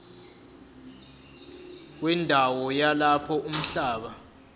wendawo yalapho umhlaba